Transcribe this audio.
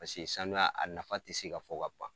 Paseke sanuya a nafa tɛ se ka fɔ ka ban.